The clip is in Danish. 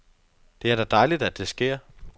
Det er da dejligt, at det sker.